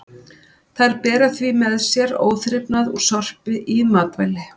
Þær bera því með sér óþrifnað úr sorpi í matvæli.